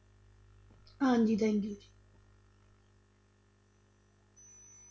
ਹਾਂਜੀ thank you ਜੀ।